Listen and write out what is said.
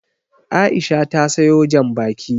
Aisha ta sawo Janbaki